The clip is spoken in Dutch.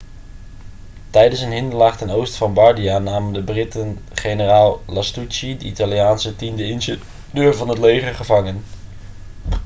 tijdens een hinderlaag ten oosten van bardia namen de britten generaal lastucci de italiaanse tiende ingenieur van het leger gevangen